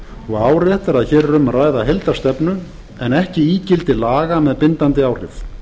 og áréttar að hér er um að ræða heildarstefnu en ekki ígildi laga með bindandi áhrif